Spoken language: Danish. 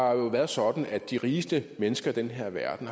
har været sådan at de rigeste mennesker i den her verden